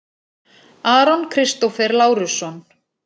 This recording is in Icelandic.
Aron Kristófer Lárusson